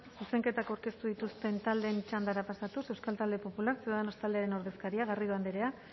zuzenketak aurkeztu dituzten taldeen txandara pasatuz euskal talde popular ciudadanos taldearen ordezkaria garrido andrea